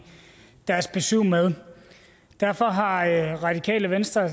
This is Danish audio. deres besyv med derfor har radikale venstre